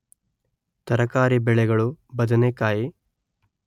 ತರಕಾರಿ ಬೆಳೆಗಳು ಬದನೆಕಾಯಿ